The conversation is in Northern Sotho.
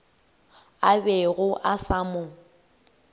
a bego a sa mo